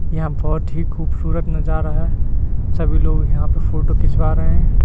यहां बहुत ही खूबसूरत नजारा है सभी लोग यहां फोटो खिंचवा रहे हैं।